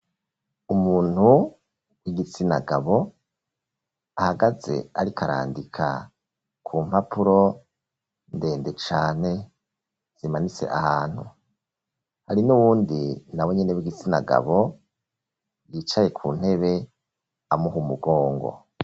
Umuntu w'igitsinagabo ahagaze arikarandika ku mpapuro ndende cane zimanitse ahantu ,hari n'uwundi na wenyene w'igitsinagabo yicaye ku ntebe amuha umugongo.